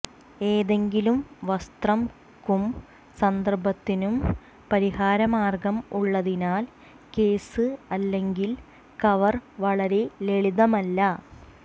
ഏതെങ്കിലും വസ്ത്രംക്കും സന്ദർഭത്തിനും പരിഹാരമാർഗ്ഗം ഉള്ളതിനാൽ കേസ് അല്ലെങ്കിൽ കവർ വളരെ ലളിതമല്ല